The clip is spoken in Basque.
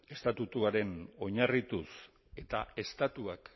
estatutuaren oinarrituz eta estatuak